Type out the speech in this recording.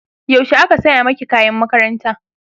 yaushe aka saya maki kayan makaranta?